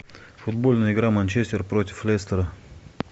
футбольная игра манчестер против лестера